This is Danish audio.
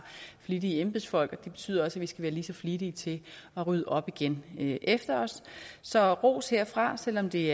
flittige embedsfolk og det betyder også at vi skal være lige så flittige til at rydde op igen efter os så ros herfra og selv om det